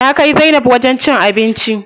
Na kai zainab wajen cin abinci.